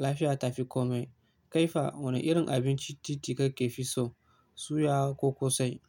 Lafiya tafikomi. Kaifi wane irin abincin titi kake fi so, suya ko ƙosai?